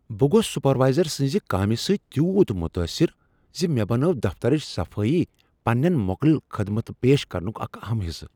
بہٕ گوس سپروایزر سٕنٛز کامہ سۭتۍ تیوٗت متاثر ز مےٚ بنٲو دفترچ صفایی پنٛنین موکلن خدمت پیش کرنک اکھ اہم حصہٕ۔